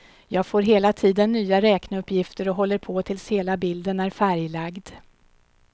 Jag får hela tiden nya räkneuppgifter och håller på tills hela bilden är färglagd.